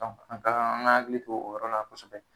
An ka an ga hakili to o yɔrɔ la kosɛbɛ